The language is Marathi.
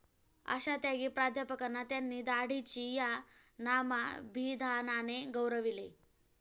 अशा त्यागी प्राध्यापकांना त्यांनी 'दाढीची' या नामाभिधानाने गौरविले.